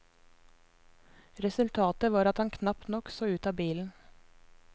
Resultatet var at han knapt nok så ut av bilen.